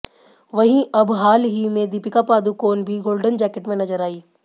वहीं अब हाल ही में दीपिका पादुकोण भी गोल्डन जैकेट में नजर आईं